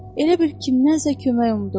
Elə bil kimsədən kömək umdu.